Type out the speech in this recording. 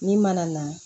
Ni mana na